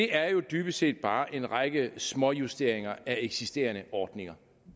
er jo dybest set bare en række småjusteringer af eksisterende ordninger